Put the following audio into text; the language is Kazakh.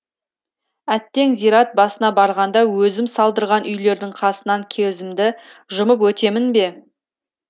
әттең зират басына барғанда өзім салдырған үйлердің қасынан жұмып өтемін бе